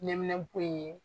Ɲɛminɛpo in ye